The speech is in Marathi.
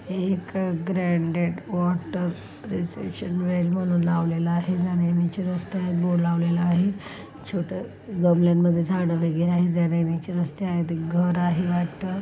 हे एक ब्रांडेड वॉटर रिसेशन वेल म्हणून लावलेल आहे जाण्या-येण्याचे रस्ते आहेत बोर लावलेल आहे छोट गमल्यानमध्ये झाड आहे जाण्या-येण्याचे रस्ते आहेत एक घर आहे वाटत.